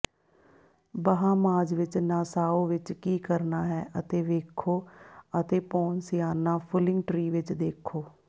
Bahamas ਵਿੱਚ Nassau ਵਿੱਚ ਕੀ ਕਰਨਾ ਹੈ ਅਤੇ ਵੇਖੋ ਅਤੇ ਪੋਨਸੀਆਨਾ ਫੁੱਲਿੰਗ ਟ੍ਰੀ ਵਿੱਚ ਦੇਖੋ